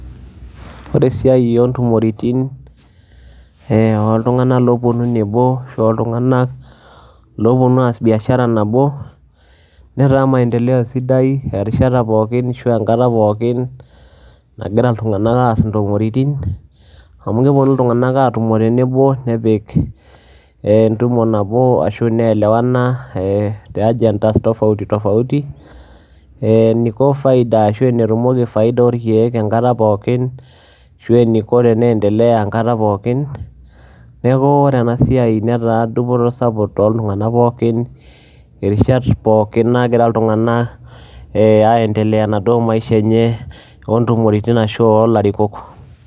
ore esiai oo ntumoritin, ooltunganak oopuonu nebo, looltunganak ooopuonu aas biashaa nabo, netaa maendeleo sidai erishata pookin, nagira ltunganak aas intumoritin, amu kepuonu iltunganak aatoni tenebo. nepik entumo nabo, neelewana, ee te agendas tofauti tofauti ee eniko faida ashu enetumoki faida orkeek, enkata pookin, ashu eniko enendelea enkata pokin, neeku ore ena, siai netaa dupoto sapuk enkata pookin, irishat, pookin naaagira iltungank aendelea, enaduoo maisha enye oo ntumoritin ashu oolarikok.